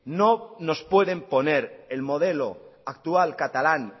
no nos pueden poner el modelo actual catalán